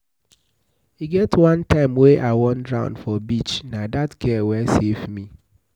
E get one time wey I wan drown for beach, na dat girl wey safe me.